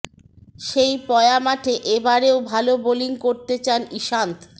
সেই পয়া মাঠে এ বারেও ভাল বোলিং করতে চান ইশান্ত